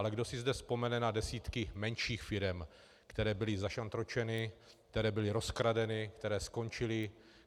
Ale kdo si zde vzpomene na desítky menších firem, které byly zašantročeny, které byly rozkradeny, které skončily?